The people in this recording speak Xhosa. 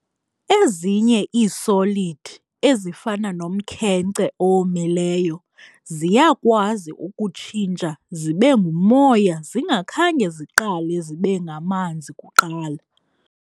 Ezinye ii-solid ezifana nomkhenkce owomileyo, ziyakwazi ukutshintsha zibengumoya zingakhange ziqale zibenganzi kuqala.